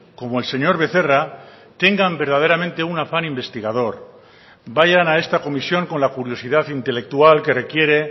como el señor becerra tengan verdaderamente un afán investigador vayan a esta comisión con la curiosidad intelectual que requiere